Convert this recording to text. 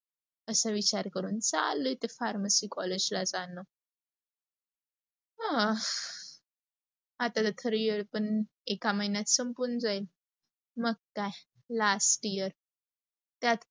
अस विचार करून चालू ते pharmacy college ला जाणं आता तर खर येड पण एका महिन्यात संपून जाईल. मग काय last year त्यात